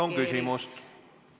Palun küsimus!